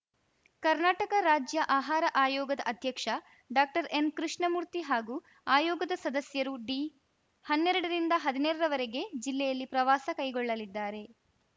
ಕರ್ನಾಟಕ ರಾಜ್ಯ ಆಹಾರ ಆಯೋಗದ ಅಧ್ಯಕ್ಷ ಡಾಕ್ಟರ್ಎನ್‌ಕೃಷ್ಣಮೂರ್ತಿ ಹಾಗೂ ಆಯೋಗದ ಸದಸ್ಯರು ಡಿ ಹನ್ನೆರಡರಿಂದ ಹದ್ನೈದರವರೆಗೆ ಜಿಲ್ಲೆಯಲ್ಲಿ ಪ್ರವಾಸ ಕೈಗೊಳ್ಳಲಿದ್ದಾರೆ